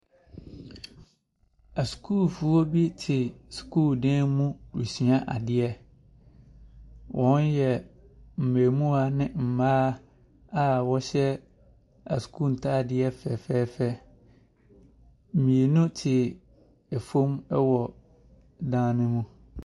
Asukuufoɔ bi te sukuudan mu resua adeɛ. Wɔyɛ mmamuwaa ne mmaa a wɔhyɛ asukuu ntaadeɛ fɛfɛɛfɛ. Mmienu te fam wɔ dan no mu.